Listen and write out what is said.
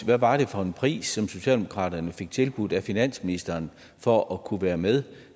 hvad var det for en pris som socialdemokratiet fik tilbudt af finansministeren for at kunne være med